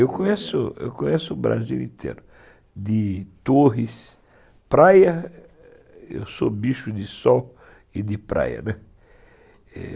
Eu conheço, eu conheço o Brasil inteiro, de torres, praia, eu sou bicho de sol e de praia, né.